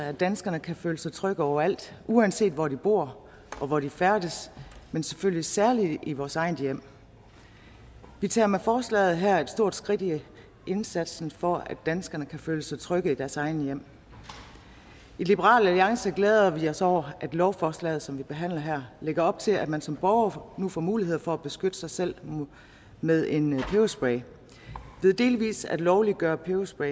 at danskerne kan føle sig trygge overalt uanset hvor de bor og hvor de færdes men selvfølgelig særlig i vores eget hjem vi tager med forslaget her et stort skridt i indsatsen for at danskerne kan føle sig trygge i deres eget hjem i liberal alliance glæder vi os over at lovforslaget som vi behandler her lægger op til at man som borger nu får mulighed for at beskytte sig selv med en peberspray ved delvis at lovliggøre peberspray